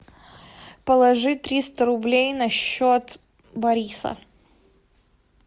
положи триста рублей на счет бориса